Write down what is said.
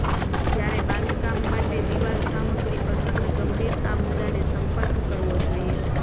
જ્યારે બાંધકામ માટે દીવાલ સામગ્રી પસંદ ગંભીર આ મુદ્દાને સંપર્ક કરવો જોઇએ